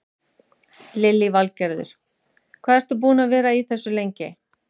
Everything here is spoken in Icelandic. Lillý Valgerður: Hvað ertu búinn að vera í þessu lengi?